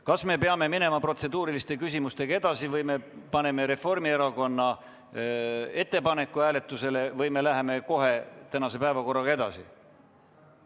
Kas me peame minema protseduuriliste küsimustega edasi või paneme Reformierakonna ettepaneku hääletusele või läheme kohe tänase päevakorra juurde?